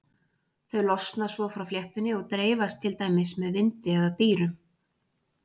þau losna svo frá fléttunni og dreifast til dæmis með vindi eða dýrum